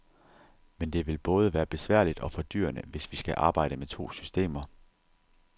Men det vil både være besværligt og fordyrende, hvis vi skal arbejde med to systemer.